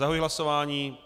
Zahajuji hlasování.